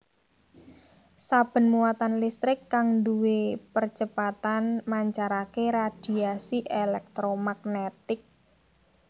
Saben muatan listrik kang duwé percepatan mancarake radhiasi èlèktromagnetik